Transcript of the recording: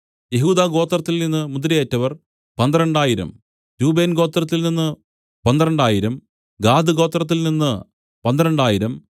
യെഹൂദാഗോത്രത്തിൽ നിന്നു മുദ്രയേറ്റവർ പന്ത്രണ്ടായിരം രൂബേൻഗോത്രത്തിൽനിന്നു പന്ത്രണ്ടായിരം ഗാദ്ഗോത്രത്തിൽനിന്നു പന്ത്രണ്ടായിരം